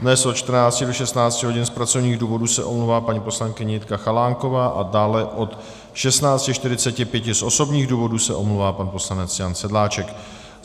Dnes od 14 do 16 hodin z pracovních důvodů se omlouvá paní poslankyně Jitka Chalánková a dále od 16.45 z osobních důvodů se omlouvá pan poslanec Jan Sedláček.